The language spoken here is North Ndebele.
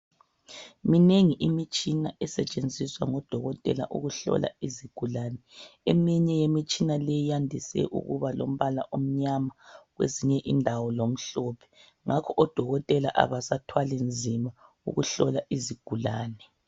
Minengi imitshina esetshenziswa ngodokotela ukuhlola izigulane eminye yemitshina leyi yandise ukuba lombala omnyama kwezinye indawo lomhlophe ngakho odokotela abasathwali nzima ukuhlola izigulane.